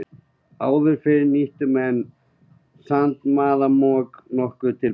Áður fyrr nýttu menn sandmaðk nokkuð til beitu.